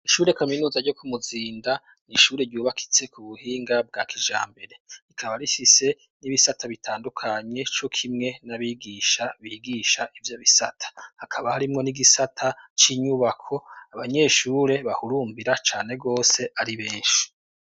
Isure kaminuza ryo kumuzinda nishure ryubakitse ku buhinga bwa kija mbere ikaba rishise n'ibisata bitandukanye co kimwe n'abigisha bigisha ivyo bisata hakaba harimwo n'igisata c'inyubako abanyeshure bahurumbira cane rwose ari benshi.